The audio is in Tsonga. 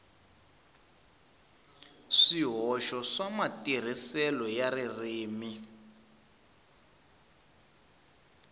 swihoxo swa matirhiselo ya ririmi